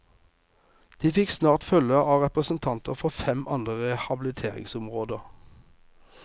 De fikk snart følge av representanter for fem andre rehabiliteringsområder.